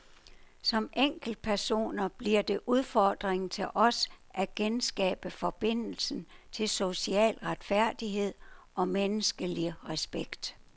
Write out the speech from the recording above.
Som enkeltpersoner bliver det udfordringen til os at genskabe forbindelsen til social retfærdighed og menneskelig respekt.